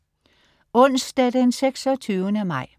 Onsdag den 26. maj